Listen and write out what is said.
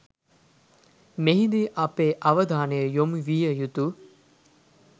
මෙහිදී අපේ අවධානය යොමු විය යුතු